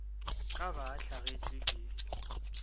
ka ba a hlagetšwe ke